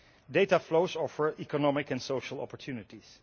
Data flows offer economic and social opportunities.